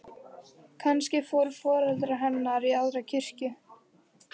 Kannski fóru foreldrar hennar í aðra kirkju.